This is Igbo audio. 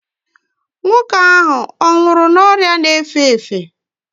nwoke ahụ ọ nwụrụ n'ọrịa na-efe efe?